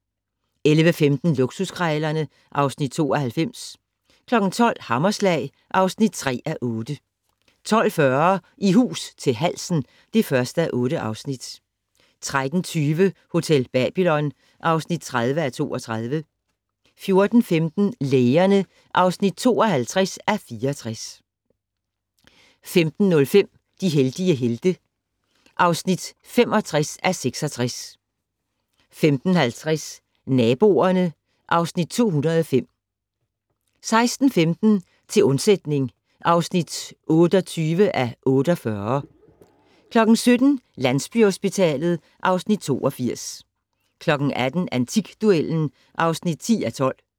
11:15: Luksuskrejlerne (Afs. 92) 12:00: Hammerslag (3:8) 12:40: I hus til halsen (1:8) 13:20: Hotel Babylon (30:32) 14:15: Lægerne (52:64) 15:05: De heldige helte (65:66) 15:50: Naboerne (Afs. 205) 16:15: Til undsætning (28:48) 17:00: Landsbyhospitalet (Afs. 82) 18:00: Antikduellen (10:12)